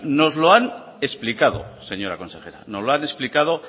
nos lo han explicado señora consejera nos lo han explicado